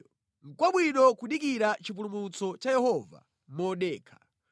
nʼkwabwino kudikira chipulumutso cha Yehova modekha.